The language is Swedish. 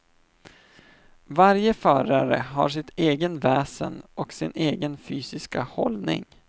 Varje förare har sitt eget väsen och sin egen fysiska hållning.